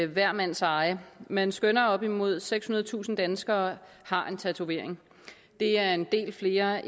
hver mands eje man skønner at op mod sekshundredetusind danskere har en tatovering det er en del flere